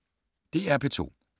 DR P2